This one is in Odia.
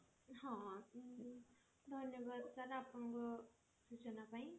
ହଁ ଧନ୍ୟବାଦ sir ଆପଣଙ୍କ ସୂଚନା ପାଇଁ